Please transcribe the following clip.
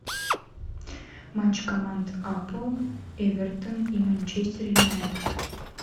матч команд апл эвертон и манчестер юнайтед